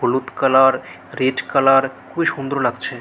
হলুদ colour red colour খুবি সুন্দর লাগছে।